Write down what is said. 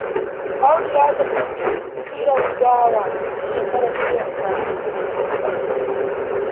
Audu ya tafi bikin cirar dawa tun shekaran jiya da safe.